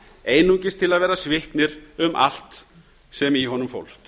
einungis til að vera sviknir um allt sem í honum fólst